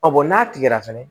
bɔn n'a tigɛra fɛnɛ